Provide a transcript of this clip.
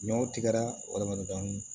Ɲɔw tigɛra dɔɔnin